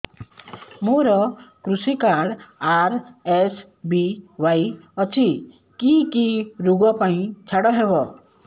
ମୋର କୃଷି card RSBY ଅଛି କି କି ଋଗ ପାଇଁ ଛାଡ଼ ହବ